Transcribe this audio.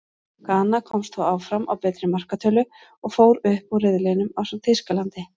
Gana komst þó áfram á betri markatölu, og fór upp úr riðlinum ásamt Þýskalandi.